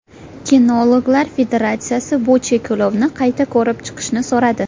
Kinologlar federatsiyasi bu cheklovni qayta ko‘rib chiqishni so‘radi.